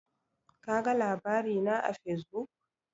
Kaga labari na a Fesbuk?